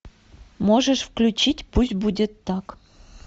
можешь включить пусть будет так